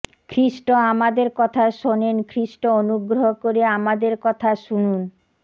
খ্রীষ্ট আমাদের কথা শোনেন খ্রীষ্ট অনুগ্রহ করে আমাদের কথা শুনুন